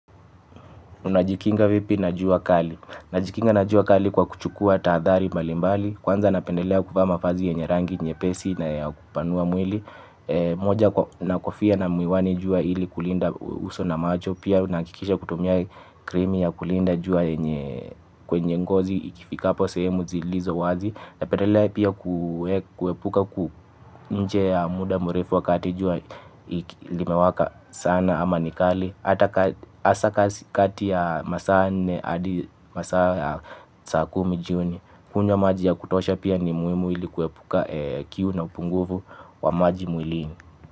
Unajikinga vipi najua kali. Najikinga najua kali kwa kuchukua tahadhari mbalimbali. Kwanza napendelea kuvaama vazi yenye rangi, nye pesi naya kupanua mwili. Moja nakofia na miwani jua ili kulinda uso na macho. Pia unahakikisha kutumiai krimi ya kulinda jua yenye kwenye ngozi ikifika po sehemu zilizo wazi. Na pendelea pia kuepuka kuwa nje ya muda mrefu wakati jua ilimewaka sana ama nikali hata kati ya masaa kumi juni. Kunywa maji ya kutosha pia ni muimu ili kuepuka kiu na upungufu wa maji mwilini.